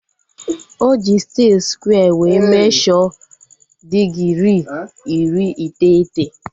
Oji stiil skware wee mesho digirii iri iteghete